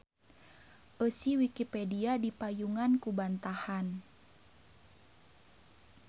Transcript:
Eusi Wikipedia dipayungan ku bantahan.